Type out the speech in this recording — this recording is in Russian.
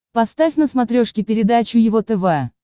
поставь на смотрешке передачу его тв